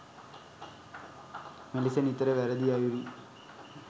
මෙලෙස නිතර වැරැදි අයුරින්